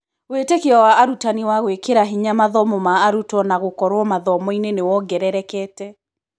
Wĩtĩkio wa arutani wa gũĩkĩra hinya mathomo ma arutwo na gũkorwo mathomo-inĩ nĩ kuongerekete.